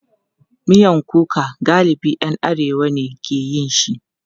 Miyan kuka galibi ‘yan arewa ne ke yin shi.